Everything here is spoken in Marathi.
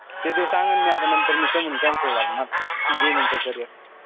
ते तुला सांगितलं मी आता नंतर मी कामून cancel झालं. ते माझं gaming च carrier.